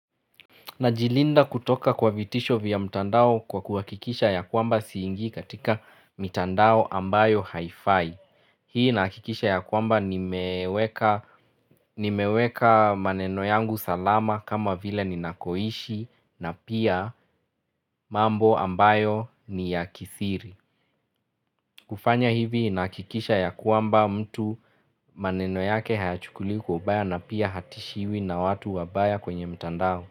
Najilinda kutoka kwa vitisho vya mtandao kwa kuhakikisha ya kwamba singii katika mitandao ambayo haifai. Hii nahikikisha ya kwamba ni meweka nimeweka maneno yangu salama kama vile nina koishi na pia mambo ambayo ni ya kisiri. Kufanya hivi nahikikisha ya kwamba mtu maneno yake hayachukuli kwa kubaya na pia hatishiwi na watu wabaya kwenye mtandao.